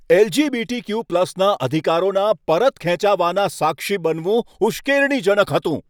એલ.જી.બી.ટી.ક્યુ.પ્લસના અધિકારોના પરત ખેંચાવાના સાક્ષી બનવું ઉશ્કેરણીજનક હતું.